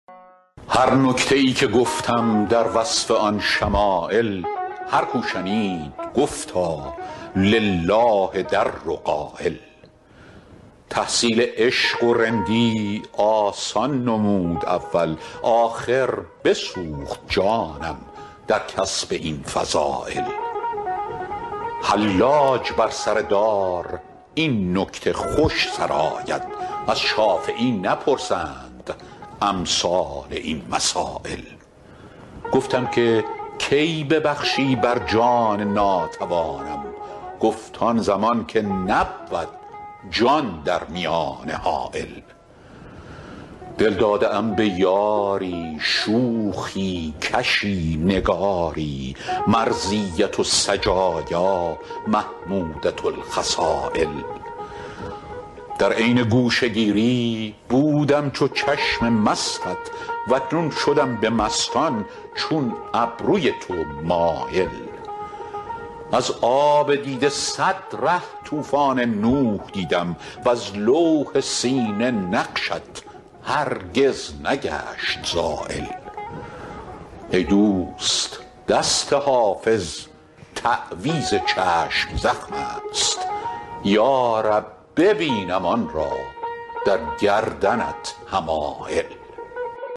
هر نکته ای که گفتم در وصف آن شمایل هر کو شنید گفتا لله در قایل تحصیل عشق و رندی آسان نمود اول آخر بسوخت جانم در کسب این فضایل حلاج بر سر دار این نکته خوش سراید از شافعی نپرسند امثال این مسایل گفتم که کی ببخشی بر جان ناتوانم گفت آن زمان که نبود جان در میانه حایل دل داده ام به یاری شوخی کشی نگاری مرضیة السجایا محمودة الخصایل در عین گوشه گیری بودم چو چشم مستت و اکنون شدم به مستان چون ابروی تو مایل از آب دیده صد ره طوفان نوح دیدم وز لوح سینه نقشت هرگز نگشت زایل ای دوست دست حافظ تعویذ چشم زخم است یا رب ببینم آن را در گردنت حمایل